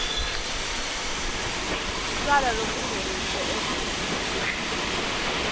tjwala lobungeniswe eveni